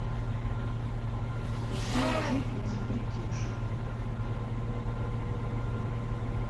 красиво жить не запретишь